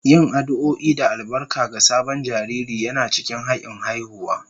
Yin addu'o'i da albarka ga sabon jariri yana cikin hakin haihuwa